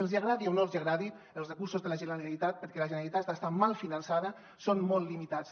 els agradi o no els agradi els recursos de la generalitat perquè la generalitat està mal finançada són molt limitats